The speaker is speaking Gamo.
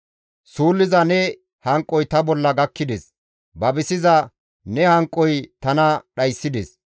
Suulliza ne hanqoy ta bolla gakkides; babisiza ne hanqoy tana dhayssides.